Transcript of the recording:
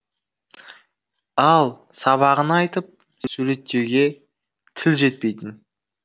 ал сабағын айтып суреттеуге тіл жетпейтін